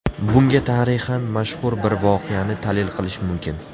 Bunga tarixdan mashhur bir voqeani dalil qilish mumkin.